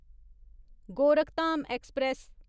Gorakhdham express